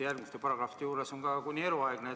Järgmiste paragrahvide juures on ka kuni eluaegne.